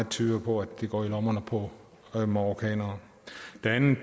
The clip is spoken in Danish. tyder på at det går i lommerne på marokkanere